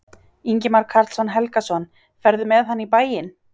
Ingimar Karl Helgason: Ferðu með hann í bæinn?